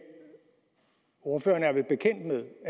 ordføreren er at